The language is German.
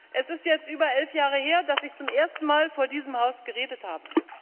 Es ist jetzt über elf Jahre her, dass ich zum ersten Mal vor diesem Haus geredet habe.